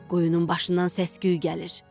Quyunun başından səs-küy gəlir.